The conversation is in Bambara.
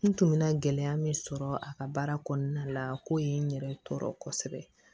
N tun bɛ na gɛlɛya min sɔrɔ a ka baara kɔnɔna na ko ye n yɛrɛ tɔɔrɔ kosɛbɛ